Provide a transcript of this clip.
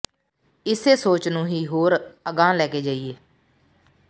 ਇਸੇ ਸੋਚ ਨੂੰ ਹੀ ਹੋਰ ਅਗਾਂਹ ਲੈ ਕੇ ਜਾਈਏ